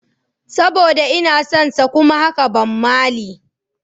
Saboda inason sa kuma haka Bob Marley.